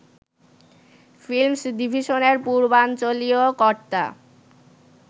films ডিভিশনের পূর্বাঞ্চলীয় কর্তা